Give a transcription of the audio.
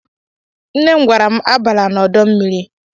Nné m gwara m abala n'ọdọ mmiri.